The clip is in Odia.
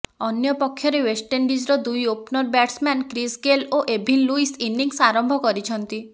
ଅନ୍ୟ ପକ୍ଷରେ ୱେଷ୍ଟଇଣ୍ଡିଜ୍ର ଦୁଇ ଓପନର ବ୍ୟାଟ୍ସମ୍ୟାନ୍ କ୍ରିସ୍ ଗେଲ୍ ଓ ଏଭିନ୍ ଲୁଇସ୍ ଇନିଂସ ଆରମ୍ଭ କରିଛନ୍ତି